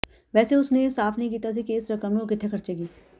ਵੈਸੇ ਉਸ ਨੇ ਇਹ ਸਾਫ ਨਹੀਂ ਕੀਤਾ ਸੀ ਕਿ ਇਸ ਰਕਮ ਨੂੰ ਉਹ ਕਿੱਥੇ ਖਰਚੇਗੀ